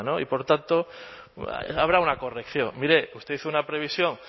y por tanto habrá una corrección mire usted hizo una previsión